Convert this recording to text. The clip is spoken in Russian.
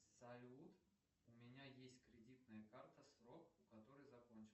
салют у меня есть кредитная карта срок у которой закончился